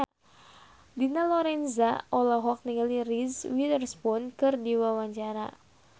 Dina Lorenza olohok ningali Reese Witherspoon keur diwawancara